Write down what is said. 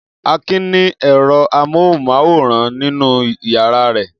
Akin ni ẹ̀rọ amóhùmáwòhán nínú ìyàrá rẹ̀?